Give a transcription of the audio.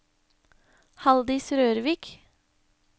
Haldis Rørvik